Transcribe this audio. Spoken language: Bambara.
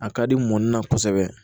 A ka di mɔni na kosɛbɛ